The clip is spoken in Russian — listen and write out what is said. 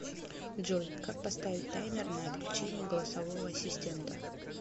джой как поставить таймер на отключение голосового ассистента